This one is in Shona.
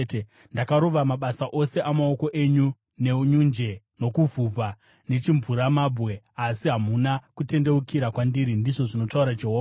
Ndakarova mabasa ose amaoko enyu nenyunje, nokuvhuvha nechimvuramabwe, asi hamuna kutendeukira kwandiri,’ ndizvo zvinotaura Jehovha.